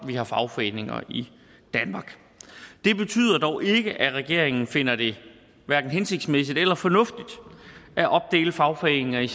vi har fagforeninger i danmark det betyder dog ikke at regeringen finder det hverken hensigtsmæssigt eller fornuftigt at opdele fagforeninger i